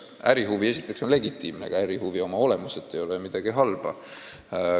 Ärihuvi on esiteks legitiimne, ega ärihuvi oma olemuselt ei ole midagi halba.